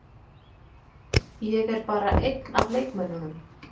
Ég er bara einn af leikmönnunum.